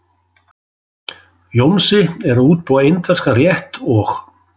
Jónsi er að útbúa indverskan rétt og.